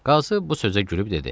Qazı bu sözə gülüb dedi.